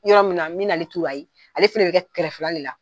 Yɔrɔ min na, n bɛn'ale turu, ale fana bɛ kɛ kɛrɛfɛla de la.